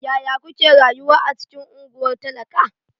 Yaya kuke rayuwa a cikin unguwar talaka?